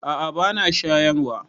A a ba na shayarwa.